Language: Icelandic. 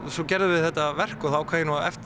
svo gerðum við þetta verk og þá ákvað ég nú